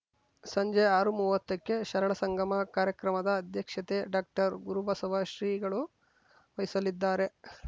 ಸಂಜೆ ಆರುಮೂವತ್ತಕ್ಕೆ ಶರಣ ಸಂಗಮ ಕಾರ್ಯಕ್ರಮದ ಅಧ್ಯಕ್ಷತೆ ಡಾಕ್ಟರ್ಗುರುಬಸವ ಶ್ರೀಗಳು ವಹಿಸಲಿದ್ದಾರೆ